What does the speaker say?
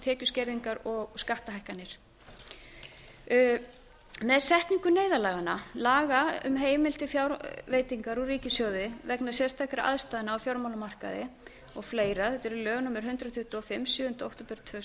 tekjuskerðingu og skattahækkanir með setningu neyðarlaganna laga um heimild til fjárveitingar úr ríkissjóði vegna sérstakra aðstæðna á fjármálamarkaði og fleiri þetta eru lög númer hundrað tuttugu og fimm sjöunda október tvö þúsund og